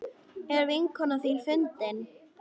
Er vinkona þín fundin?